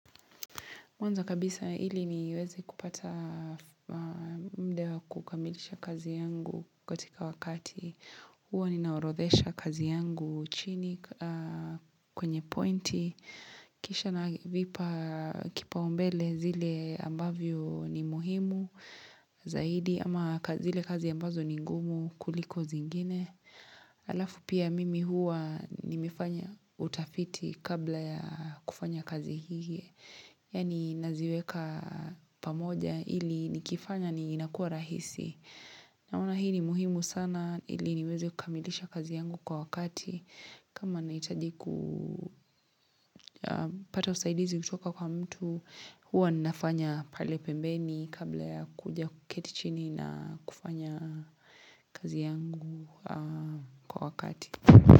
Mwanzo kabisa ili niweze kupata muda wa kukamilisha kazi yangu katika wakati huwa ninaorodhesha kazi yangu chini kwenye pointi. Kisha navipa kipaumbele zile ambavyo ni muhimu zaidi ama zile kazi ambazo ni ngumu kuliko zingine. Alafu pia mimi huwa nimefanya utafiti kabla ya kufanya kazi hii. Yani naziweka pamoja ili nikifanya ni inakuwa rahisi Naona hii ni muhimu sana ili niweze kukamilisha kazi yangu kwa wakati kama nahitaji kupata usaidizi kutoka kwa mtu huwa ninafanya pale pembeni kabla ya kuja kuketi chini na kufanya kazi yangu kwa wakati.